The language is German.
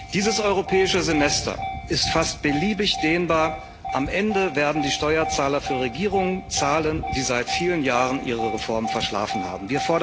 Dieses Europäische Semester ist fast beliebig dehnbar Am Ende werden die Steuerzahler für Regierungen zahlen, die seit vielen Jahren ihre Reformen verschlafen haben.